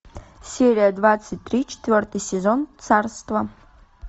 серия двадцать три четвертый сезон царство